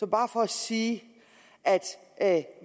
bare for at sige at